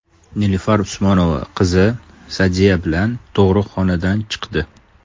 Nilufar Usmonova qizi Sa’diya bilan tug‘ruqxonadan chiqdi .